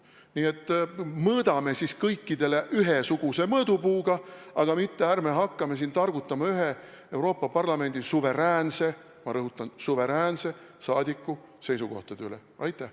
Nii et mõõdame kõikidele ühesuguse mõõdupuuga ja ärme hakkame siin targutama ühe Euroopa Parlamendi suveräänse – ma rõhutan: suveräänse – liikme seisukohtade üle!